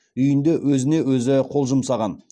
үйінде өзіне өзі қол жұмсаған